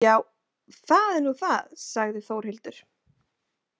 Já, það er nú það, sagði Þórhildur.